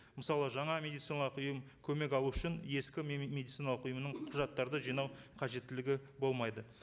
мысалы жаңа медициналық ұйым көмек алу үшін ескі медициналық ұйымнан құжаттарды жинау қажеттілігі болмайды